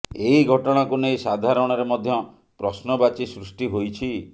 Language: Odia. ଏହି ଘଟଣାକୁ ନେଇ ସାଧାରଣରେ ମଧ୍ୟ ପ୍ରଶ୍ନବାଚୀ ସୃଷ୍ଟି ହୋଇଛି